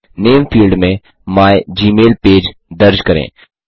नामे field में my Gmail page दर्ज करें